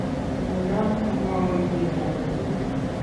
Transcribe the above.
mamekat amwoun kiy age tugul